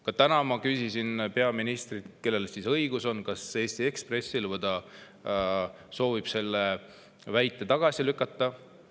Ka täna ma küsisin peaministrilt, kellel õigus on, kas Eesti Ekspressil, või ta soovib selle väite tagasi lükata.